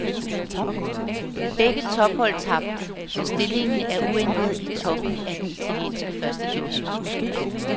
Begge tophold tabte, så stillingen er uændret i toppen af den italienske første division.